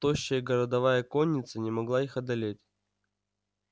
тощая городовая конница не могла их одолеть